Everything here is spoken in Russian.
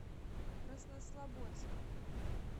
краснослободском